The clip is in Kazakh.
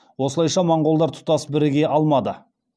осылайша моғолдар тұтас біріге алмады